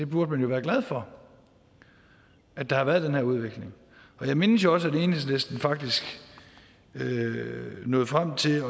burde være glad for at der har været den her udvikling jeg mindes jo også at enhedslisten faktisk nåede frem til